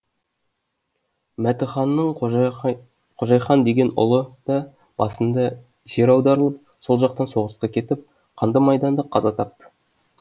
мәтіханның қожайхан деген ұлы да басында жер аударылып сол жақтан соғысқа кетіп қанды майданда қаза тапты